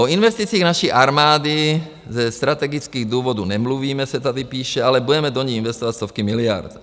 O investicích naší armády ze strategických důvodů nemluvíme, se tady píše, ale budeme do ní investovat stovky miliard.